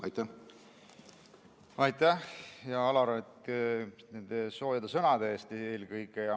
Aitäh, hea Alar, eelkõige nende soojade sõnade eest!